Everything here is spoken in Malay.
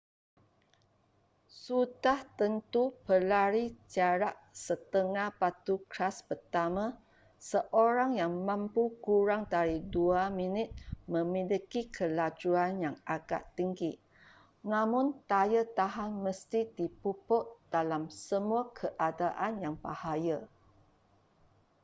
sudah tentu pelari jarak setengah batu kelas pertama seorang yang mampu kurang dari dua minit memiliki kelajuan yang agak tinggi namun daya tahan mesti dipupuk dalam semua keadaan yang bahaya